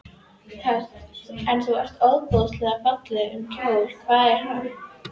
Hödd: Nú ert þú ofboðslega fallegum kjól, hvaðan er hann?